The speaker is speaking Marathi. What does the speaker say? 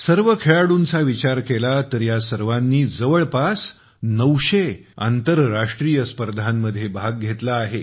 सर्व खेळाडूंचा विचार केला तर या सर्वांनी जवळपास नऊशे आंतरराष्ट्रीय स्पर्धांमध्ये भाग घेतला आहे